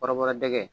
Kɔrɔbɔrɔ dɛgɛ